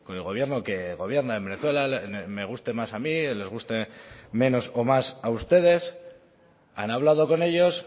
el gobierno que gobierna en venezuela me guste más a mí les guste menos o más a ustedes han hablado con ellos